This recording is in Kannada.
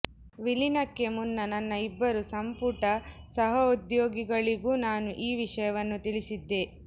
ವಿಲೀನಕ್ಕೆ ಮುನ್ನ ನನ್ನ ಇಬ್ಬರು ಸಂಪುಟ ಸಹೋದ್ಯೋಗಿಗಳಿಗೂ ನಾನು ಈ ವಿಷಯವನ್ನು ತಿಳಿಸಿದ್ದೆ